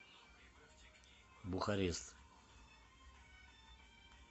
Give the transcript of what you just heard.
бухарест